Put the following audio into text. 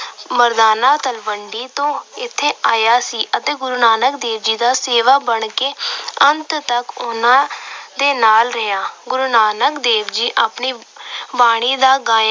ਮਰਦਾਨਾ ਤਲਵੰਡੀ ਤੋਂ ਇੱਥੇ ਆਇਆ ਸੀ ਅਤੇ ਗੁਰੂ ਨਾਨਕ ਦੇਵ ਦਾ ਸੇਵਕ ਬਣ ਕੇ ਅੰਤ ਤੱਕ ਉਹਨਾਂ ਦੇ ਨਾਲ ਰਿਹਾ। ਗੁਰੂ ਨਾਨਕ ਦੇਵ ਜੀ ਆਪਣੀ ਬਾਣੀ ਦਾ ਗਾਇਨ